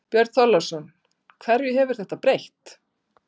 Björn Þorláksson: Hverju hefur þetta breytt?